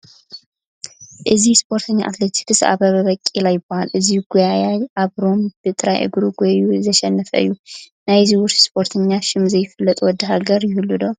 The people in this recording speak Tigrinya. እዚ ስፖርተኛ ኣትሌቲክስ ኣበበ በቂላ ይበሃል፡፡ እዚ ጐያዪ ኣብ ሮም ብጥራይ እግሯ ጐዪዩ ዘሸነፈ እዩ፡፡ ናይዚ ውሩስ ስፖርተኛ ሽም ዘይፈልጥ ወዲ ሃገር ይህሉ ዶ?